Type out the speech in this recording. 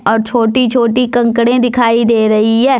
और छोटी छोटी कंकड़े दिखाई दे रही है।